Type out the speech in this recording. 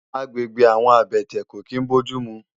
Àgbégbé àwòn àbètè kó kin bójùmú